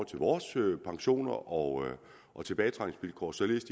til vores pensioner og og tilbagetrækningsvilkår således